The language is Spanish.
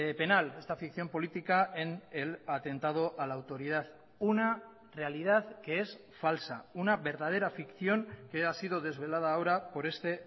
penal esta ficción política en el atentado a la autoridad una realidad que es falsa una verdadera ficción que ha sido desvelada ahora por este